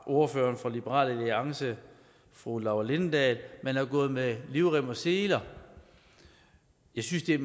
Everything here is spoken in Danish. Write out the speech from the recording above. ordføreren fra liberal alliance fru laura lindahl brugte at man har gået med livrem og seler jeg synes det er